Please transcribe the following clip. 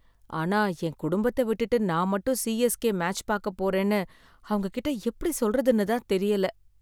ஆனா என் குடும்பத்த விட்டுட்டு நான் மட்டும் சி.எஸ்.கே. மேட்ச் பாக்க போறேன்னு அவங்க கிட்ட எப்படி சொல்றதுனு தான் தெரியல.